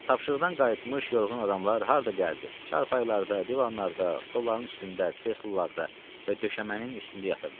Tapşırıqdan qayıtmış yorğun adamlar harda gəldi çarpaylarda, divanlarda, stollların üstündə, kreslolarda və döşəmənin üstündə yatırdılar.